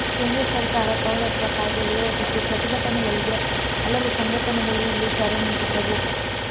ಕೇಂದ್ರ ಸರಕಾರ ಪೌರತ್ವ ಕಾಯ್ದೆ ವಿರೋಧಿಸಿ ಪ್ರತಿಭಟನೆಗಳಿಗೆ ಹಲವು ಸಂಘಟನೆಗಳು ಇಲ್ಲಿ ಕರೆ ನೀಡಿದ್ದವು